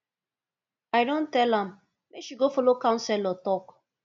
i don tell am make she go folo counselor talk